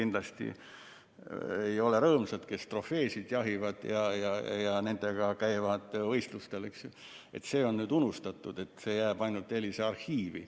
Näiteks, jahimehed, kes trofeesid jahivad ja nendega võistlustel käivad, ei ole kindlasti rõõmsad, sest need on nüüd unustatud, see kõik jääb ainult EELIS‑e arhiivi.